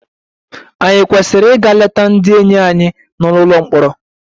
Ànyị kwesịrị ịga leta ndị enyi anyị nọ n'ụlọ mkpọrọ?